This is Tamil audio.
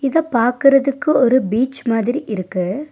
இத பாக்குறதுக்கு ஒரு பீச் மாதிரி இருக்கு.